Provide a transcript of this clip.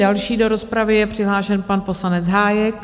Další do rozpravy je přihlášen pan poslanec Hájek.